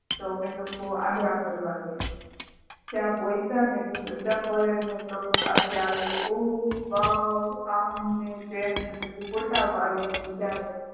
તો અમે લોકં અગ્રા ફરવા ગયા ત્યાં પ્પોઈચા ને તો બધા foreigner લોકો પાસે આવીને ઓ wow અમ ને તેમ ને પછી photo પડ્યા બધાયે